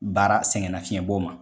Baara sɛgɛn nafiyɛnbɔ ma.